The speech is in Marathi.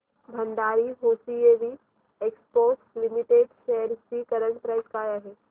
Bhandari hosiery exports limited shares ची करंट प्राइस काय आहे